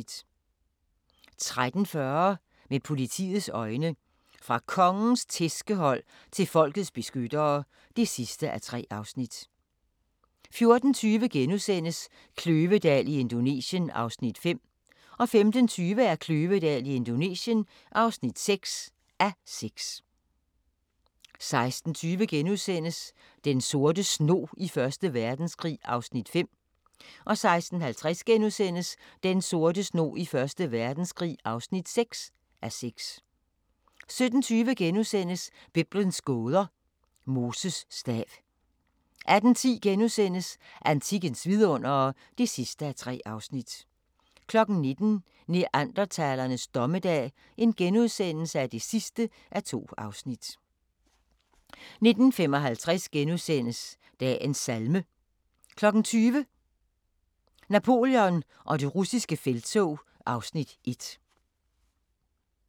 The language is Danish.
13:40: Med politiets øjne: Fra Kongens tærskehold til folkets beskyttere (3:3) 14:20: Kløvedal i Indonesien (5:6)* 15:20: Kløvedal i Indonesien (6:6) 16:20: Den sorte snog i 1. Verdenskrig (5:6)* 16:50: Den sorte snog i 1. Verdenskrig (6:6)* 17:20: Biblens gåder – Moses stav * 18:10: Antikkens vidundere (3:3)* 19:00: Neandertalernes dommedag (2:2)* 19:55: Dagens salme * 20:00: Napoleon og det russiske felttog (Afs. 1)